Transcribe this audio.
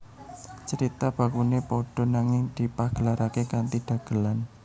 Carita bakune padha nanging dipagelarake kanthi dagelan